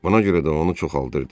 Buna görə də onu çoxaldırdı.